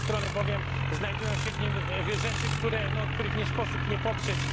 Z jednej strony bowiem znajdują się w nim rzeczy, których nie sposób nie poprzeć.